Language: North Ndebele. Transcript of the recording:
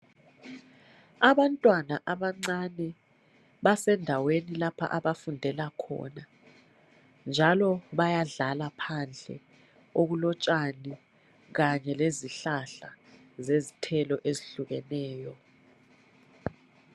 Abantwana abancane basendaweni lapha abafundela khona njalo bayadlala phandle okulotshani Kanye lezihlahla zezithelo ezehlukeneyo